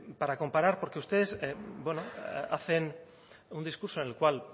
para comparar porque ustedes bueno hacen un discurso en el cual